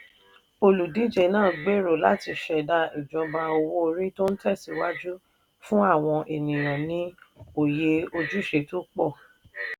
olùdíje náà gbèrò láti ṣẹ̀dá ìjọba owó orí tó ń tẹ̀síwájú fún àwọn ènìyàn ní òye ojúṣe tó pọ̀